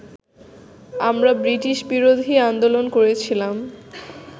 আমরা ব্রিটিশবিরোধী আন্দোলন করেছিলাম